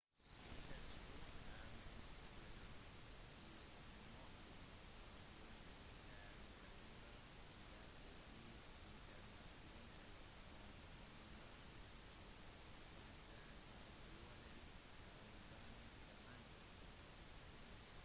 vintersport er mest populært i nordlige områder der italienere deltar i internasjonale konkurranser og ol-arrangementer